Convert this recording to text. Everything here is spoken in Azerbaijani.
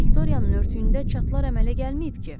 Viktoriyanın örtüyündə çatılar əmələ gəlməyib ki?